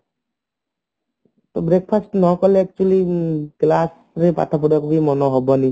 ତ breakfast ନ କଲେ actually class ରେ ପାଠ ପଢିବାକୁ ବି ମନ ହବନି